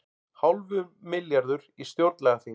Hálfur milljarður í stjórnlagaþing